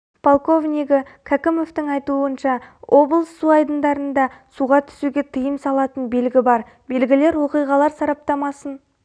полковнигі кәкімовтың айтуынша облыс су айдындарында суға түсуге тыйым салатын белгі бар белгілер оқиғалар сараптамасын